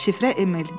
Şifrə Emil.